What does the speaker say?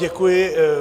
Děkuji.